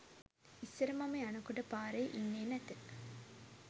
ඉස්සර මම යනකොට පාරේ ඉන්නේ නැත